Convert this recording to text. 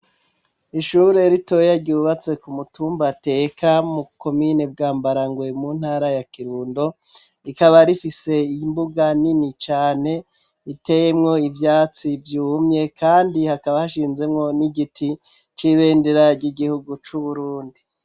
Ishure ritoye ryubatse ku mutumba teka komine Bwambarangwe mu ntara ya Kirundo rikaba rifise imbuga nini cane iteyemwo ivyatsi vyumye kandi hakaba hashinzemwo n'igiti c'ibendera ry'igihugu cu Burundi.